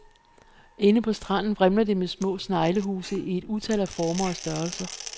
Inde på stranden igen vrimler det med små sneglehuse i et utal af former og størrelser.